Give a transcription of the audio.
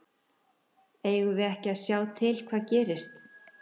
Eigum við ekki að sjá til hvað gerist?